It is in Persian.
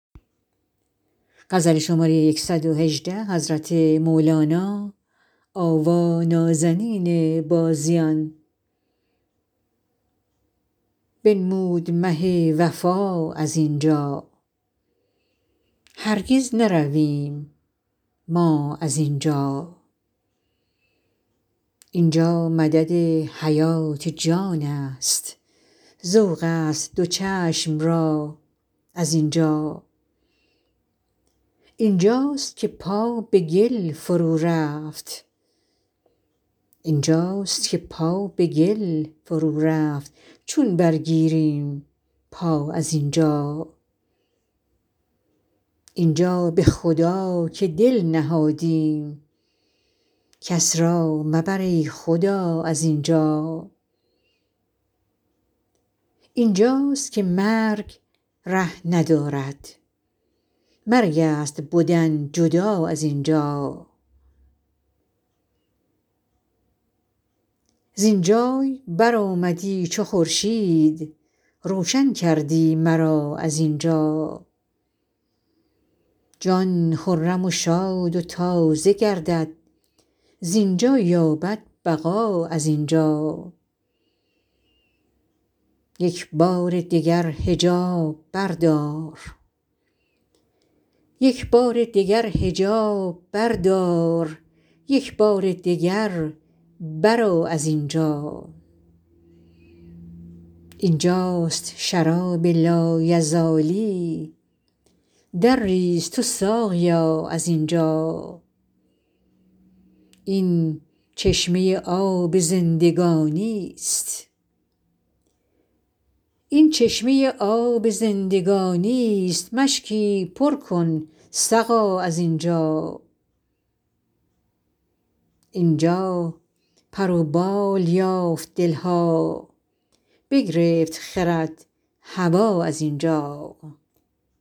بنمود مه وفا از این جا هرگز نرویم ما از این جا این جا مدد حیات جانست ذوقست دو چشم را از این جا این جاست که پا به گل فرورفت چون برگیریم پا از این جا این جا به خدا که دل نهادیم کس را مبر ای خدا از این جا این جاست که مرگ ره ندارد مرگست بدن جدا از این جا زین جای برآمدی چو خورشید روشن کردی مرا از این جا جان خرم و شاد و تازه گردد زین جا یابد بقا از این جا یک بار دگر حجاب بردار یک بار دگر برآ از این جا این جاست شراب لایزالی درریز تو ساقیا از این جا این چشمه آب زندگانیست مشکی پر کن سقا از این جا این جا پر و بال یافت دل ها بگرفت خرد هوا از این جا